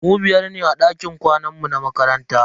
Mu biyar ne a dakin kwanan mu na makaranta.